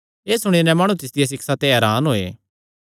एह़ सुणी नैं माणु तिसदिया सिक्षा ते हरान होये